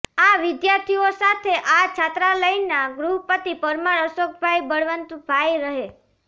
આ વિદ્યાર્થીઓ સાથે આ છાત્રાલયના ગૃહપતિ પરમાર અશોકભાઈ બળવંતભાઈ રહે